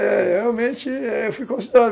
É, realmente, eu fui considerado.